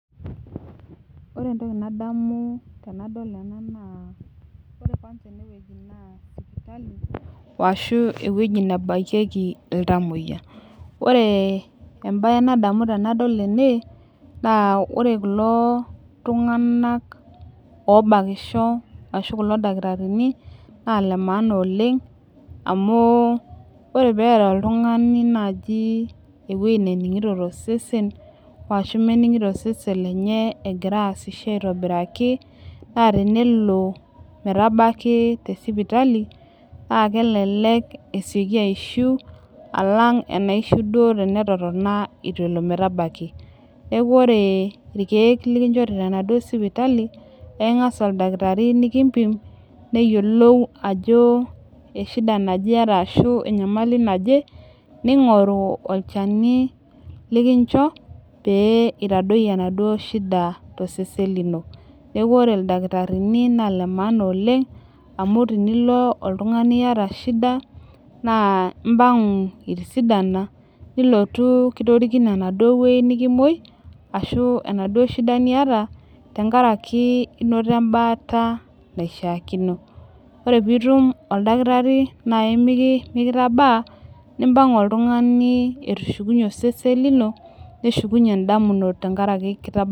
Ore entoki nadamu tenadol ena naa ore kwanza enewueji naa sipitali washu ewueji nebakieki iltamoyia ore embaye nadamu tenadol ena naa ore kulo tung'anak obakisho ashu kulo dakitarini naa ile maana oleng amu ore peeta oltung'ani naaji ewuei nening'ito tosesen washu mening'ito osesen lenye egira aasisho aitobiraki naa tenelo metabaki te sipitali na kelelek esioki aishiu alang enaishiu duo tenetotona itu elo metabaki neeku ore irkeek likinchori tenaduo sipitali naa eking'as oldakitari nikimpim neyiolou ajo eshida naje iyata ashu enyamali naje ning'oru olchani likincho pee itadoyio enaduo shida tosesen lino neeku ore ildakitarini naa ile maana oleng amu tinilo oltung'ani iyata shida naa impang'u itisidana nilotu kitorikine enaduo wuei nikimuoi ashu enaduo shida niyata tenkaraki inoto embaata naishiakino ore piitum oldakitari nai miki mikitabaa nimpang'u oltung'ani etushukunyie osesen lino neshukunyie indamunot tenkaraki kita.